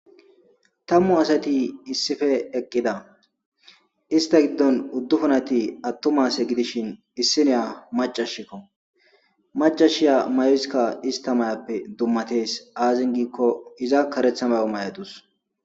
tammu asati issife eqqida ista giddon uddufunati attumase gidishin issineya macashikko macashiya mayoeskka ista may7appe dummatees aazin giikko iza karetha bago may7adus